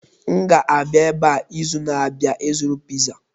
M ga-abịa ebe a izu na-abịa ịzụrụ Piza